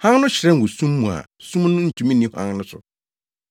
Hann no hyerɛn wɔ sum mu a sum no ntumi nni hann no so.